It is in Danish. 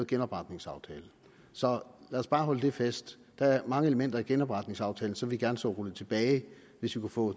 genopretningsaftalen så lad os bare holde fast på der er mange elementer i genopretningsaftalen som vi gerne så rullet tilbage hvis vi kunne få